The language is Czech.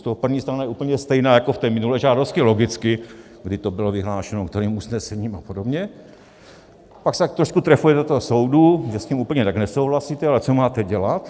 Z toho první strana je úplně stejná jako v té minulé žádosti, logicky, kdy to bylo vyhlášeno, kterým usnesením a podobně, pak se tak trošku trefuje do toho soudu, že s tím úplně tak nesouhlasíte, ale co máte dělat.